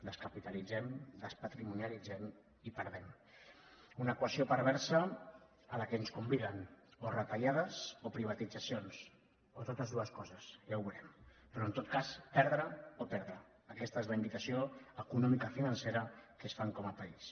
descapitalitzem despatrimonialitzem i perdem una equació perversa a què ens conviden o retallades o privatitzacions o totes deus coses ja ho veurem però en tot cas perdre o perdre aquesta és la invitació economicofinancera que ens fan com a país